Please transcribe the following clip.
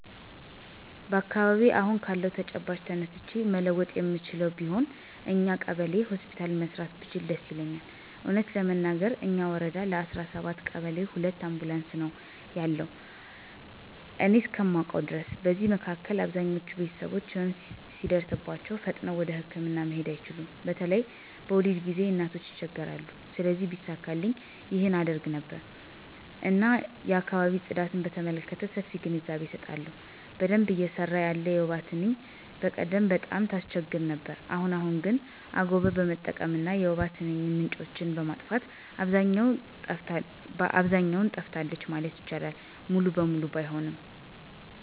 በአካባቢየ አሁን ካለው ተጨባጭ ተነስቼ መለወጥ የምችለው ቢሆን እኛው ቀበሌ ሆስፒታል መስራት ብችል ደስ ይለኛል። እውነት ለመናገር እኛ ወረዳ ለ17 ቀበሌ ሁለት አምቡላንስ ነው ያሉ እኔ እስከማውቀው ድረስ። በዚህ መካከል አብዛኞች ቤተሰቦች ህመም ሲደርስባቸው ፈጥነው ወደህክምና መሄድ አይችሉም በተለይ በወሊድ ጊዜ እናቶች ይቸገራሉ። ስለዚህ ቢሳካልኝ ይህን አደርግ ነበር። እና የአካባቢ ጽዳትን በተመለከተ ሰፊ ግንዛቤ አሰጣለሁ። በደንብ እየሰራ ያለ የወባ ትንኝ በቀደም ቀጣም ታስቸግር ነበር አሁን አሁን ግን አጎቀር በመጠቀም እና የወባ ትንኝ ምንጮችን በማጥፋት አብዛኛው ጠፍታለች ማለት ይቻላል ሙሉ በሙሉ ባይሆንም።